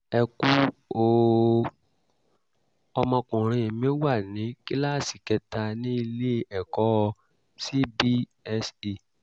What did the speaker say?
ẹ kú o! ọmọkùnrin mi wà ní kíláàsì kẹta ní ilé-ẹ̀kọ́ cbse